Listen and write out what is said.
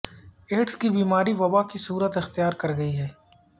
AIDS کی بیماری وبا کی صورت اختیار کر گئی ہے